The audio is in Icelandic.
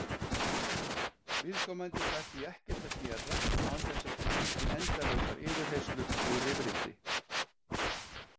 Viðkomandi fær því ekkert að gera án þess að því fylgi endalausar yfirheyrslur og rifrildi.